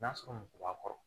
N'a sɔrɔ muso b'a kɔrɔ